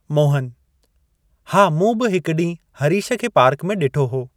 मोहनः हा, मूं बि हिक ॾींहं हरीश खे पार्क में ॾिठो हो।